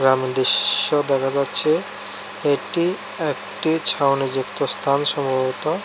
সামনে দৃশ্য দেখা যাচ্ছে এটি একটি ছাউনিযুক্ত স্থান সম্ভবত।